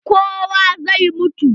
Kowa zai mutu.